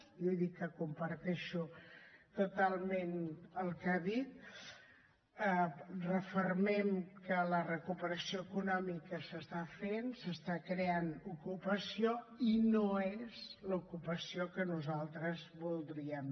jo he dit que comparteixo totalment el que ha dit refermem que la recuperació econòmica s’està fent s’està creant ocupació i no és l’ocupació que nosaltres voldríem